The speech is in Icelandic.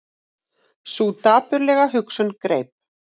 Sú dapurlega hugsun greip